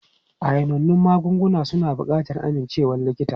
Ayanannun magungunan suna buƙatar amincewar likita.